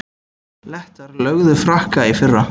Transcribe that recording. Lettar lögðu Frakka í fyrra